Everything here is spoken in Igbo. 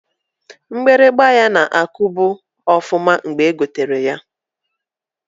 Mgbịrịgba ya na-akubu ọfụma mgbe egotalụ ya.